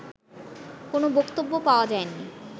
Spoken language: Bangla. কোনো বক্তব্য পাওয়া যায়নি